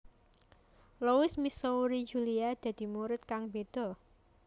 Louis Missouri Julia dadi murid kang beda